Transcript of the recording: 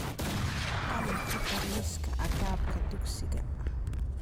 qalin ku dar liiska agabka dugsiga